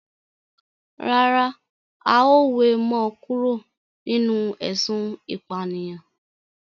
Rárá, a ó we mo kúrò nínú ésun ìpànìyàn